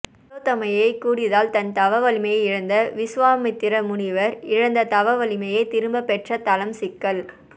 திலோத்தமையைக் கூடியதால் தன் தவவலிமையை இழந்த விசுவாமித்திர முனிவர் இழந்த தவவலிமையை திரும்பப் பெற்ற தலம் சிக்கல்